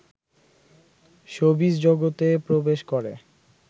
showbiz জগতে প্রবেশ করে